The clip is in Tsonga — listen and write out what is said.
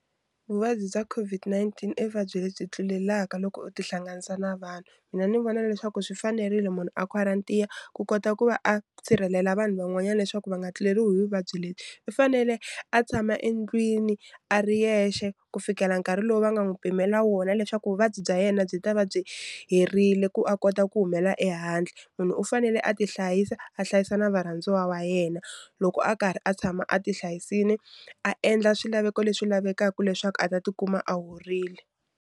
Vvabyi bya COVID-19 i vuvabyi lebyi tlulelaka loko u tihlanganisa na vanhu mina ni vona leswaku swi fanerile munhu a quarantine ku kota ku va a sirhelela vanhu van'wanyana leswaku va nga tluleriwi hi vuvabyi lebyi u fanele a tshama endlwini a ri yexe ku fikela nkarhi lowu va nga n'wi pimela wona leswaku vuvabyi bya yena byi ta va byi herile ku a kota ku humela ehandle munhu u fanele a tihlayisa a hlayisa na varhandziwa wa yena loko a karhi a tshama a ti hlayisile a endla swilaveko leswi lavekaka leswaku a ta tikuma a horile.